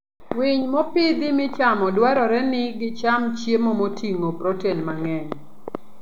Winy mopidhi michamo dwarore ni gicham chiemo moting'o protein mang'eny.